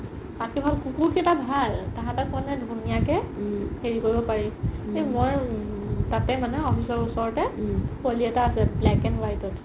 কুকুৰ কেইটা ভাল তাহাতে ক'লে ধুনীয়াকে হেৰি কৰিব পাৰি মই তাতে মানে office ৰ ওচৰতে পোৱালি এটা আছে black and white ত